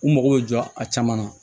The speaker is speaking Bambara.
U mago bɛ jɔ a caman na